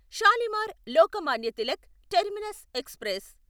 Shalimar Lokmanya Tilak terminus express